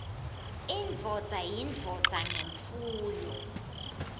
indvodza yindvodza ngemfuyo